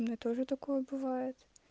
у меня тоже такое бывает